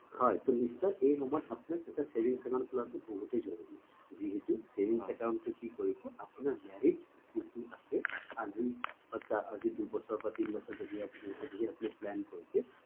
হয় ট নিশ্চয় এই সময়ত এটা savings account খোলা টো বহুতই জৰুৰী যিহেতু savings account টো কি কৰিব আপোনাৰ marriage যিটো আছে আজি দুবছৰ বা তিনি বছৰ ধৰি আপুনি বিয়া বুলি plan কৰিছে